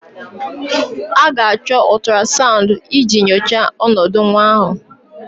A ga-achọ ultrasound iji nyochaa ọnọdụ nwa ahụ